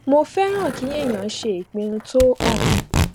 mo fẹràn kí èèyàn ṣe ìpinnu tó hàn